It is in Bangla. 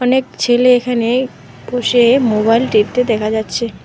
এক ছেলে এখানে বসে মোবাইল দেখতে দেখা যাচ্ছে।